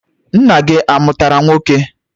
Nne gị amụtara nwoke?